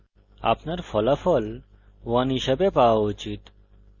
আপনার ফলাফল 1 হিসাবে পাওয়া উচিত